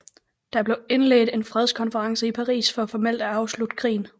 Der blev indledt en fredskonference i Paris for formelt at afslutte krigen